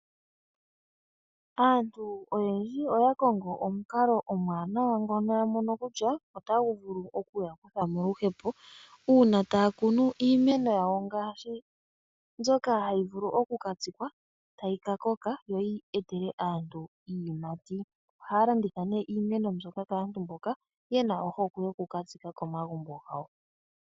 Aantu oyendji oya kongo omukalo omwaanawa ngono yamono kutya otagu vulu okuya kutha moluhepo , muuna taya kunu iimeno yawo ngaashi mbyoka tayi vulu okuka tsikwa , tayi kakoka to yi etele aantu iiyimati. Ohaya landitha iimeno kaantu mboka yena ohokwe yokukatsika komagumbo gawo.